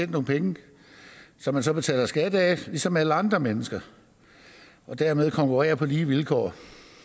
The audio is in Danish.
nogle penge som man så betaler skat af ligesom alle andre mennesker og dermed konkurrerer på lige vilkår